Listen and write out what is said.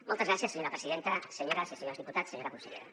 moltes gràcies senyora presidenta senyores i senyors diputats senyora consellera